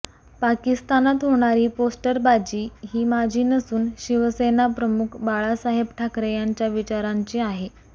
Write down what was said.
पाकिस्तानात होणारी पोस्टरबाजी ही माझी नसून शिवसेनाप्रमुख बाळासाहेब ठाकरे यांच्या विचारांची आहे